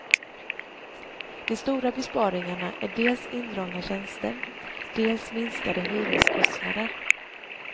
De stora besparingarna är dels indragna tjänster, dels minskade hyreskostnader.